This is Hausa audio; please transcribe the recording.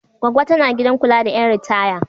Goggo tana gidan kula da ƴan ritaya.